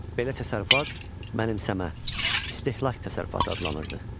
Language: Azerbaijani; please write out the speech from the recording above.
Belə təsərrüfat mənimsəmə, istehlak təsərrüfatı adlanırdı.